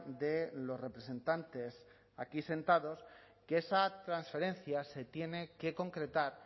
de los representantes aquí sentados que esa transferencia se tiene que concretar